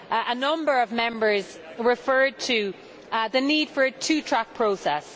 A number of Members referred to the need for a two track process.